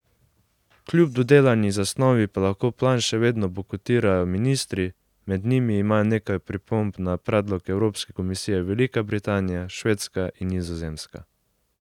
Kljub dodelani zasnovi pa lahko plan še vedno bojkotirajo ministri, med njimi imajo nekaj pripomb na predlog Evropske komisije Velika Britanija, Švedska in Nizozemska.